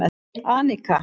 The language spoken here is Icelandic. Anika